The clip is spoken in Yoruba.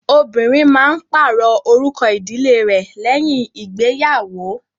Obìnrin máa ń pàrọ̀ orúkọ ìdílé rẹ̀ lẹ́yìn ìgbéyàwò.